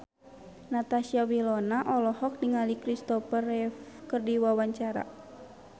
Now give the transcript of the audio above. Natasha Wilona olohok ningali Kristopher Reeve keur diwawancara